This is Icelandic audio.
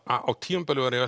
á tímabili var ég